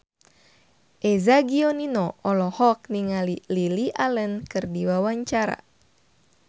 Eza Gionino olohok ningali Lily Allen keur diwawancara